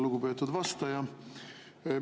Lugupeetud vastaja!